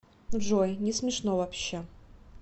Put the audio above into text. джой несмешно вообще